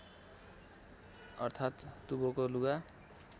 अर्थात् दुवोको लुगा